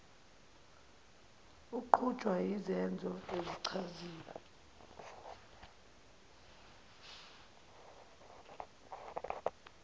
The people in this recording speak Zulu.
aqutshulwa yizenzo ezichaziwe